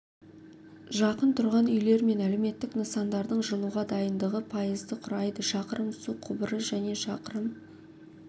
жақын тұрғын үйлер мен әлеуметтік нысандардың жылуға дайындығы пайызды құрайды шақырым су құбыры және шақырым